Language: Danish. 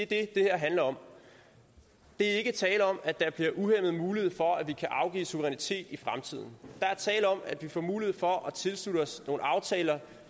det her handler om der er ikke tale om at der bliver en uhæmmet mulighed for at vi kan afgive suverænitet i fremtiden der er tale om at vi får mulighed for at tilslutte os nogle aftaler